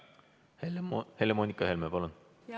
Helle-Moonika Helme, palun!